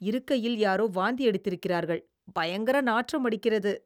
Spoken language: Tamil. இருக்கையில் யாரோ வாந்தி எடுத்திருக்கிறார்கள், பயங்கர நாற்றம் அடிக்கிறது.